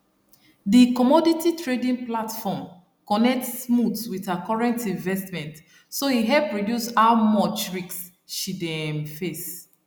the commodity trading platform connect smooth with her current investment so e help reduce how much risk she dey um face